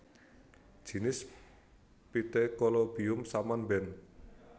Jinis Pithecolobium saman Benth